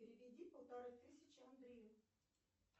переведи полторы тысячи андрею